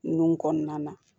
Nunnu kɔnɔna na